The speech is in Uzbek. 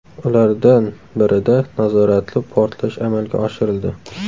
Ulardan birida nazoratli portlash amalga oshirildi.